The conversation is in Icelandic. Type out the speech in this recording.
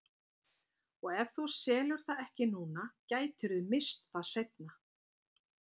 Og ef þú selur það ekki núna gætirðu misst það seinna.